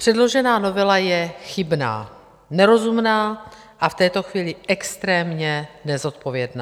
Předložená novela je chybná, nerozumná a v této chvíli extrémně nezodpovědná.